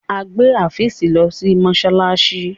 o gbé Afeez ló sí masalasi!